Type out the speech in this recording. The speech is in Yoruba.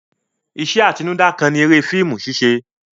Iṣẹ́ atinúdá kan ni eré fíìmù ṣíṣẹ.